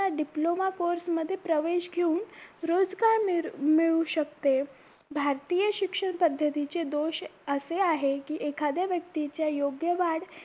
diploma course मध्ये प्रवेश घेऊन रोजगार मिरु मिळू शकते भारतीय शिक्षण पद्धतीचे दोष असे आहे की एखाद्या व्यक्तीच्या योग्य वाढ